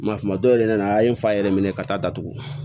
Ma suman dɔw yɛrɛ nana a ye n fa yɛrɛ minɛ ka taa datugu